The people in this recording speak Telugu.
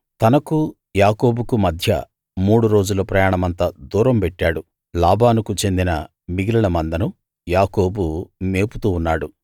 తనకూ యాకోబుకూ మధ్య మూడు రోజుల ప్రయాణమంత దూరం పెట్టాడు లాబానుకు చెందిన మిగిలిన మందను యాకోబు మేపుతూ ఉన్నాడు